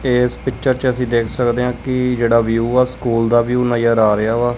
ਏਸ ਪਿਕਚਰ ਚ ਅੱਸੀ ਦੇਖ ਸਕਦੇਆ ਕੀ ਜੇਹੜਾ ਵਿਊ ਆ ਸਕੂਲ ਦਾ ਵਿਊ ਨਜ਼ਰ ਆ ਰਿਹਾ ਵਾ।